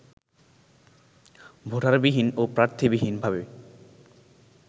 ভোটারবিহীন ও প্রার্থীবিহীনভাবে